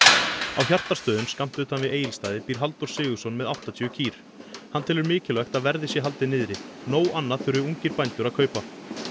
á skammt utan við Egilsstaði býr Halldór Sigurðsson með áttatíu kýr hann telur mikilvægt að verði sé haldið niðri nóg annað þurfi ungir bændur að kaupa